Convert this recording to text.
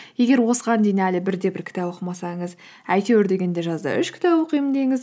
егер осыған дейін әлі бір де бір кітап оқымасаңыз әйтеуір дегенде жазда үш кітап оқимын деңіз